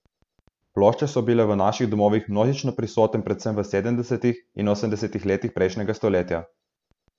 Plošče so bile v naših domovih množično prisoten predvsem v sedemdesetih in osemdesetih letih prejšnjega stoletja.